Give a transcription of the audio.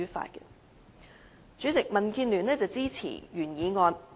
代理主席，民建聯支持原議案。